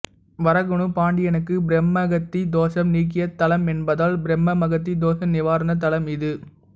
வரகுண பாண்டியனுக்கு பிரம்மஹத்தி தோஷம் நீக்கிய தலமென்பதால் பிரம்மஹத்தி தோஷ நிவாரண தலம் இது